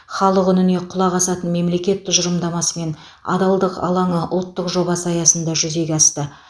халық үніне құлақ асатын мемлекет тұжырымдамасы мен адалдық алаңы ұлттық жобасы аясында жүзеге асты